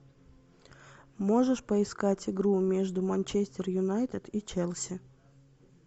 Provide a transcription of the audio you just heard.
можешь поискать игру между манчестер юнайтед и челси